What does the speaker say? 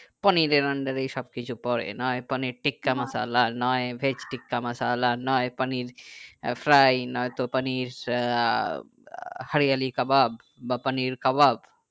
পনিরের under এই সবকিছু পরে নই পনির টিক্কা মসলা নই veg টিক্কা মসলা নই পনির fried নয়তো পানির আহ হরিয়ালি কাবাব বা পানির কাবাব